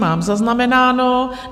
Mám zaznamenáno.